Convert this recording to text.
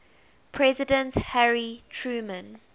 president harry truman